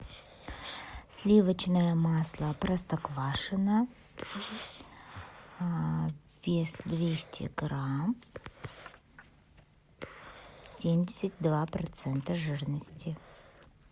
сливочное масло простоквашино вес двести грамм семьдесят два процента жирности